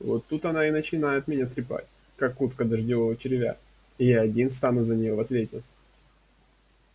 вот тут она и начинает меня трепать как утка дождевого червя и я один стану за неё в ответе